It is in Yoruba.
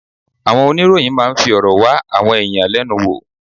Àwọn oníròyìn máa ń fi ọ̀rọ̀ wá àwọn ẹ̀yàn lẹ́nu wò.